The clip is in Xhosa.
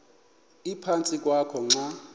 ephantsi kwakho xa